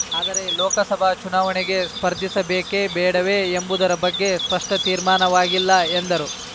ಆದರೆ ಲೋಕಸಭಾ ಚುನಾವಣೆಗೆ ಸ್ಪರ್ಧಿಸಬೇಕೇ ಬೇಡವೇ ಎಂಬುದರ ಬಗ್ಗೆ ಸ್ಪಷ್ಟತೀರ್ಮಾನವಾಗಿಲ್ಲ ಎಂದರು